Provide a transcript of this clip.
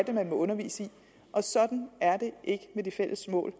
man må undervise i og sådan er det ikke med de fælles mål